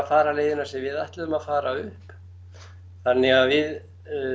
fara leiðina sem við ætluðum að fara upp þannig að við